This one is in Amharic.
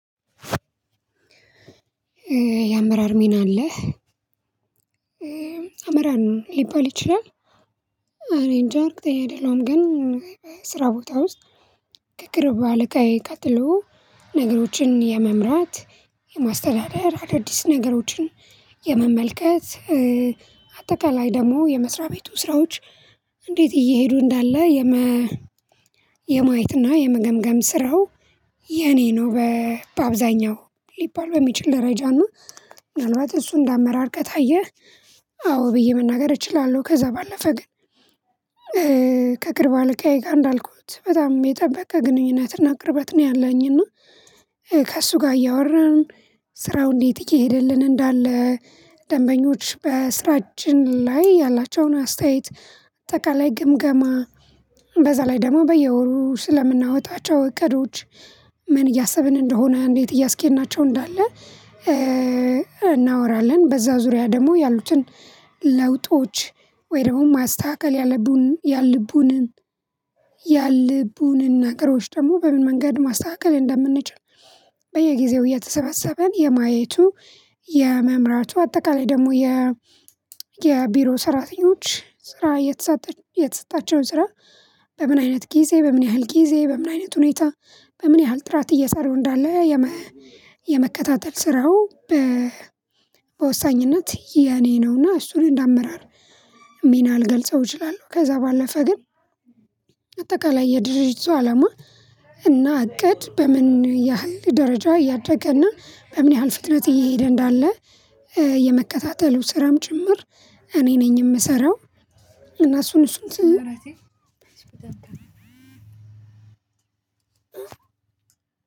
የአመራር ሚና አለ አመራር ነው ሊባል ይችላል። እኔ እንጃ እርግጠኛ አይደለሁም። ግን ስራ ቦታ ውስጥ ከቅርብ አለቃዬ ቀጥሎ ነገሮችን የመምራት የማስተዳደር አዳዲስ ነገሮችን የመመልከት አጠቃላይ ደግሞ የመስሪያ ቤቱ ስራዎች እንዴት እየሄዱ እንዳለ የመ የማየትና የመገምገም ስራው የኔ ነው በአብዛኛው ሊባል በሚችል ደረጃ ነው። ምናልባት እሱን እንደ አመራር ከታየ አዎ ብዬ መናገር እችላለሁ። ከዛ ባለፈ ግን ከቅርብ አለቃዬ ጋር እንዳልኩት በጣም የጠበቀ ግንኙነትና ቅርበት ነው ያለኝ። እና ከእሱ ጋር እያወራን ስራው እንዴት እየሄደልን እንዳለ ደንበኞች በስራችን ላይ ያላቸውን አስተያየት አጠቃላይ ግምገማ በዛ ላይ ደግሞ በየወሩ ስለምናወጣቸው እቅዶች ምን እያሰብን እንደሆነ እንዴት እያስኬድናቸው እንዳለ እናወራለን። በዛ ዙሪያ ደግሞ ያሉትን ለውጦች ወይ ደግሞ ማስተካከል ያለቡን ያልልቡንን ያልልቡንን ነገሮች ደግሞ በምን መንገድ ማስተካከል እንደምንችል። በየጊዜው እየተሰባሰብን የማየቱ የመምራቱ አጠቃላይ ደግሞ የ የቢሮ ሰራተኞች ስራ የተሰጣቸውን ስራ በምን አይነት ጊዜ በምን ያህል ጊዜ በምን አይነት ሁኔታ በምን ያህል ጥራት እየሰሩ እንዳለ የመከታተል ስራው። በወሳኝነት የኔ ነውና እሱን እንደ አመራር ሚና ልገልጸው እችላለሁ። ከዛ ባለፈ ግን አጠቃላይ የድርጅቱ አላማ እና እቅድ በምን ያህል ደረጃ እያደገ እና በምን ያህል ፍጥነት እየሄደ እንዳለ የመከታተሉ ስራም ጭምር እኔ ነኝ የምሰራው። እና እሱን እሱን ስል